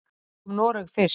Tökum Noreg fyrst.